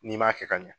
N'i m'a kɛ ka ɲa